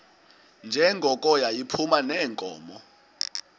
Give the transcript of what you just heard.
njengoko yayiphuma neenkomo